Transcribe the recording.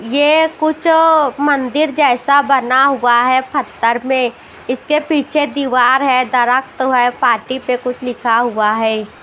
यह कुछ मंदिर जैसा बना हुआ है पत्थर में इसके पीछे दीवार है दरख्त है पाटी पे कुछ लिखा हुआ है।